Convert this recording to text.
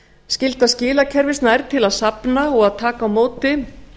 skylda skilakerfis nær til að safna og taka á móti